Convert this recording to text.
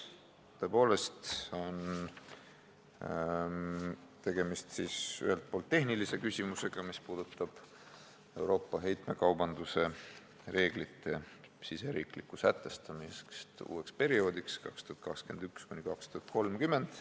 Tõepoolest on ühelt poolt tegemist tehnilise küsimusega, mis puudutab Euroopa heitekaubanduse reeglite riigisisest sätestamist uueks perioodiks, aastateks 2021–2030.